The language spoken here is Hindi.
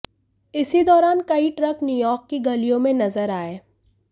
इसी दौरान कई ट्रक न्यूयॉर्क की गलियों में नजर आए